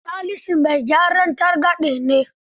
Salisu mai gyaran targaɗe ne.